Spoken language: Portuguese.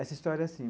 Essa história, assim,